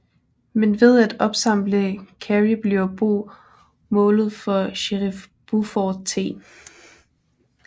Men ved at opsamle Carrie bliver Bo målet for sherif Buford T